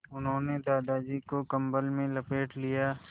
उन्होंने दादाजी को कम्बल में लपेट दिया